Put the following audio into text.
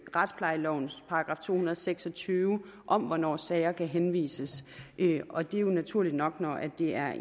retsplejelovens § to hundrede og seks og tyve om hvornår sager kan henvises og det er jo naturligt nok når det er